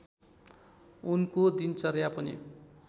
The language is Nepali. उनको दिनचर्या पनि